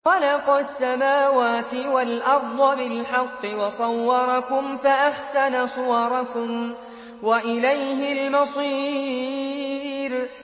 خَلَقَ السَّمَاوَاتِ وَالْأَرْضَ بِالْحَقِّ وَصَوَّرَكُمْ فَأَحْسَنَ صُوَرَكُمْ ۖ وَإِلَيْهِ الْمَصِيرُ